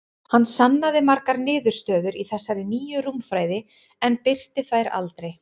Hann sannaði margar niðurstöður í þessari nýju rúmfræði, en birti þær aldrei.